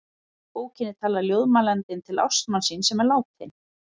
Í bókinni talar ljóðmælandinn til ástmanns síns sem er látinn.